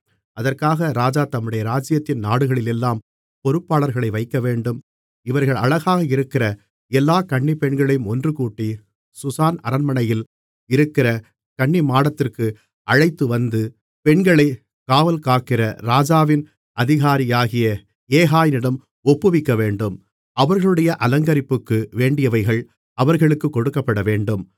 அதற்காக ராஜா தம்முடைய ராஜ்ஜியத்தின் நாடுகளிலெல்லாம் பொறுப்பாளர்களை வைக்கவேண்டும் இவர்கள் அழகாக இருக்கிற எல்லா கன்னிப்பெண்களையும் ஒன்றுகூட்டி சூசான் அரண்மனையில் இருக்கிற கன்னிமாடத்திற்கு அழைத்துவந்து பெண்களைக் காவல்காக்கிற ராஜாவின் அதிகாரியாகிய யேகாயினிடம் ஒப்புவிக்கவேண்டும் அவர்களுடைய அலங்கரிப்புக்கு வேண்டியவைகள் அவர்களுக்குக் கொடுக்கப்படவேண்டும்